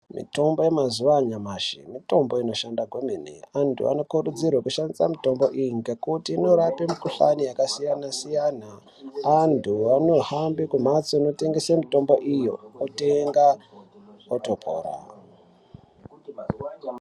Mitombo yamazuwa anyamashi mitombo inoshanda kwemene antu anokurudzirwa kushandisa mitombo iyi ngekuti inorapa mukhuhlani yakasiyana siyana antu anohamba kumhatso inotengesa mitombo iyo otenga otopora.